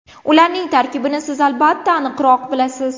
Ularning tarkibini siz albatta aniqroq bilasiz.